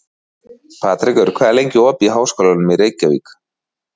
Patrekur, hvað er lengi opið í Háskólanum í Reykjavík?